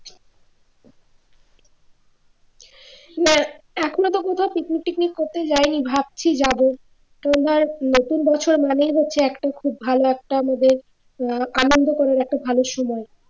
না এখনো তো কোথাও picnic টিকনিক করতে যাইনি ভাবছি যাবো আমাদের নতুন বছর মানেই হচ্ছে ভালো একটা আমাদের আনন্দ করার একটা ভালো সময়